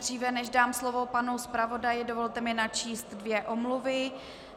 Dříve než dám slovo panu zpravodaji, dovolte mi načíst dvě omluvy.